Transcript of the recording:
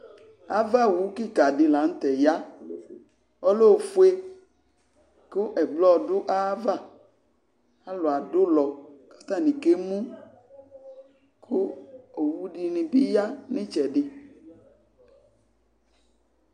Avawu kɩka dɩ la nʋ tɛ ya Ɔlɛ ofue kʋ ɛblɔ dʋ ayava Alʋ adʋ ʋlɔ kʋ atanɩ kemu kʋ owu dɩnɩ bɩ ya nʋ ɩtsɛdɩ